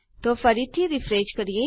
તો ફરીથી રીફ્રેશ કરીએ